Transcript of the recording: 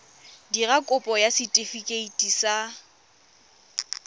dira kopo ya setefikeiti sa